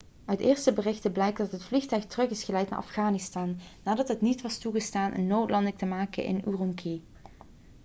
uit eerste berichten blijkt dat het vliegtuig terug is geleid naar afghanistan nadat het niet was toegestaan een noodlanding te maken in ürümqi